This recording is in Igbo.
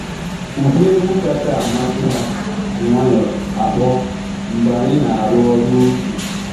Ụdị egwu kacha amasị ha ji nwayọ akpọ mgbe anyị na arụ ọrụ otu. um